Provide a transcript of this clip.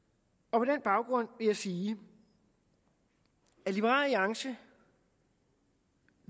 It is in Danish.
på den baggrund vil jeg sige at liberal alliance